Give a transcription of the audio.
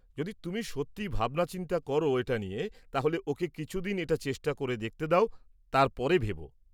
যদি তুমি সত্যি ভাবনাচিন্তা করো এটা নিয়ে তাহলে ওকে কিছুদিন এটা চেষ্টা করে দেখতে দাও তারপরে ভেবো।